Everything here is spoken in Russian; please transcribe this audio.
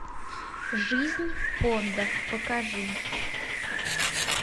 жизнь пондов покажи